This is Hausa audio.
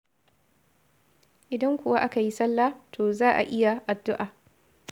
Idan kuwa aka yi salla, to za a yi addu'a.